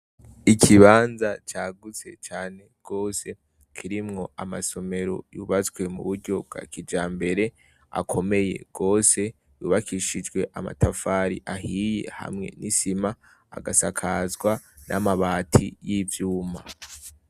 Ikibanza cagutse cane gose kirimwo amasomero yubatswe mu buryo bwa kijambere akomeye gose yubakishijwe amatafari ahiye hamwe n'isima agasakazwa n'amabati y'ivyuma.